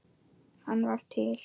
Hann var til.